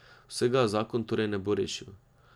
Vsega zakon torej ne bo rešil.